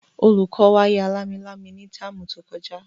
Olùkọ́ wa ya lámilámi ní táàmù tí ó kọjá